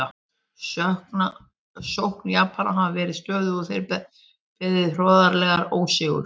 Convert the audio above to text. Sókn Japana hafði verið stöðvuð og þeir beðið hroðalegan ósigur.